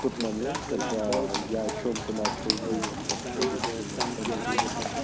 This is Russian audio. тот момент когда я о чём-то начал думать вообще обычно ни о чём не думаю